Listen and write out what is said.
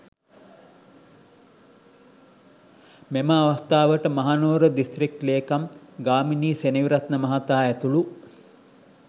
මෙම අවස්ථාවට මහනුවර දිස්ත්‍රික් ලේකම් ගාමිණී සෙනවිරත්න මහතා ඇතුළු